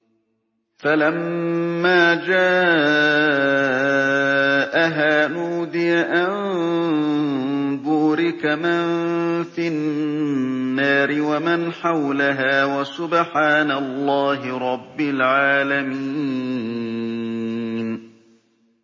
فَلَمَّا جَاءَهَا نُودِيَ أَن بُورِكَ مَن فِي النَّارِ وَمَنْ حَوْلَهَا وَسُبْحَانَ اللَّهِ رَبِّ الْعَالَمِينَ